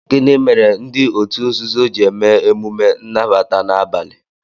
Gịnị mere ndị òtù nzuzo ji eme emume nnabata na abalị?